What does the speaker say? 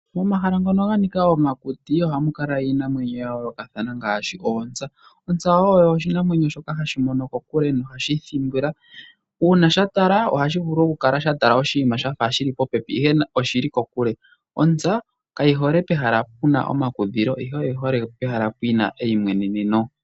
Momahala ngono ga nika okuti, ohamu kala iinamwenyo ya yoolokathana ngaashi oontsa. Ontsa oyo oshinamwenyo shoka hashi mono kokule nohashi thimbula. Uuna sha tala, ohashi vulu okukala shafa sha tala oshinima shili popepi ihe nani oshili kokule. Ontsa kayi hole pehala puna omakudhilo, ihe oyi hole pehala puna eyimweneneno.